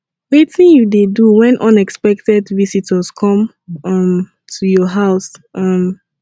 wetin you dey do when unexpected visitors come um to your house um